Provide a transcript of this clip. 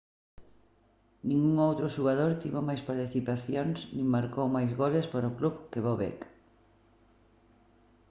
ningún outro xogador tivo máis participacións nin marcou máis goles para o club que bobek